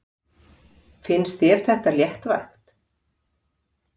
Finnst þér það léttvægt?